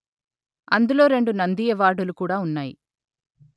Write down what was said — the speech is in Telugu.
అందులో రెండు నంది అవార్డులు కూడా ఉన్నాయి